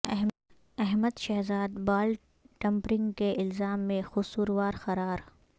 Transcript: Ahmad Shehzad ball tampering کے الزام میں قصوروار قرار